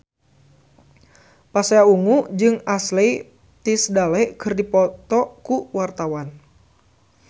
Pasha Ungu jeung Ashley Tisdale keur dipoto ku wartawan